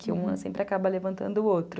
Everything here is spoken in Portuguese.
Que uma sempre acaba levantando o outro.